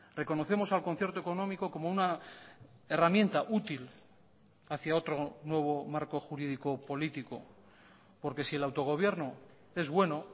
reconocemos al concierto económico como una herramienta útil hacia otro nuevo marco jurídico político porque si el autogobierno es bueno